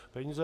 Peníze